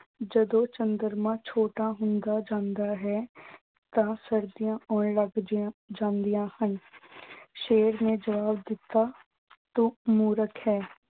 ਜਦੋਂ ਚੰਦਰਮਾ ਛੋਟਾ ਹੁੰਦਾ ਜਾਂਦਾ ਹੈ ਤਾਂ ਸਰਦੀਆਂ ਆਉਣ ਲੱਗ ਜਾਂਦੀਆਂ ਹਨ। ਸ਼ੇਰ ਨੇ ਜਵਾਬ ਦਿੱਤਾ, ਤੂੰ ਮੂਰਖ ਹੈਂ।